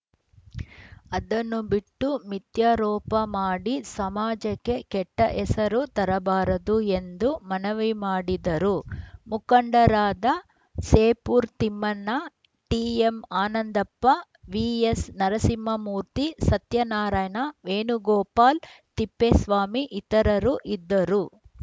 ಅದನ್ನು ಬಿಟ್ಟು ಮಿಥ್ಯಾರೋಪ ಮಾಡಿ ಸಮಾಜಕ್ಕೆ ಕೆಟ್ಟಹೆಸರು ತರಬಾರದು ಎಂದು ಮನವಿ ಮಾಡಿದರು ಮುಖಂಡರಾದ ಸೇಪೂರ್‌ ತಿಮ್ಮಣ್ಣ ಟಿಎಂಆನಂದಪ್ಪ ವಿಎಸ್‌ನರಸಿಂಹಮೂರ್ತಿ ಸತ್ಯನಾರಾಯಣ ವೇಣುಗೋಪಾಲ್ ತಿಪ್ಪೇಸ್ವಾಮಿ ಇತರರು ಇದ್ದರು